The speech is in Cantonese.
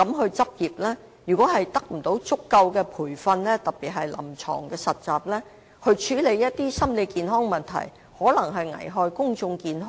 如果有關的畢業生在沒有得到足夠培訓，特別是臨床實習的情況下執業，處理心理健康的問題，便有可能危害公眾健康。